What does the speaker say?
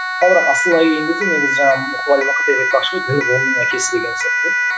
ал бірақ асылына келген кезде негізі жаңағы мұқағали мақатаев айтпақшы дін ғылымның әкесі деген сияқты